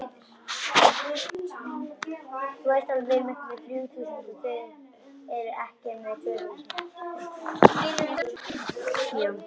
Drífa glotti.